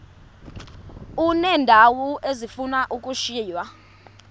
uneendawo ezifuna ukushiywa